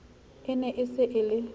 e ne se e le